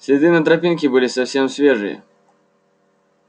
следы на тропинке были совсем свежие